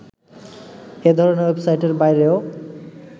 এধরনের ওয়েবসাইটের বাইরেও